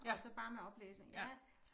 Og så bare med oplæsning ja